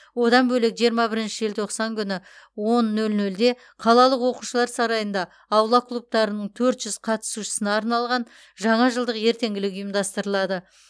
одан бөлек жиырма бірінші желтоқсан күні он нөл нөлде қалалық оқушылар сарайында аула клубтарының төрт жүз қатысушысына арналған жаңа жылдық ертеңгілік ұйымдастырылады